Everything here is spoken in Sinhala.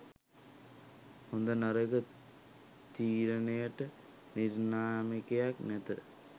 හොඳ නරක තීරණයට නිර්ණායකයක් නැත